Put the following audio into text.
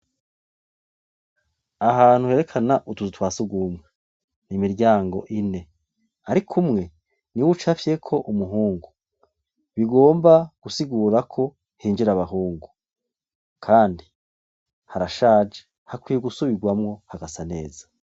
Ahantu herekana utuzu twasugumwe nimiryango ine, ariko umwe ni we uc afyeko umuhungu bigomba gusigurako hinjira abahungu, kandi harashaje hakwiye gusubirwamwo hagasa neza.